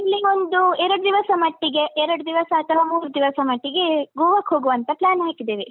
ಅಲ್ಲಿಗೊಂದು ಎರಡು ದಿವಸ ಮಟ್ಟಿಗೆ ಎರಡು ದಿವಸ ಅಥವ ಮೂರು ದಿವಸ ಮಟ್ಟಿಗೆ ಗೋವಕ್ ಹೋಗುವ ಅಂತ plan ಹಾಕಿದ್ದೇವೆ.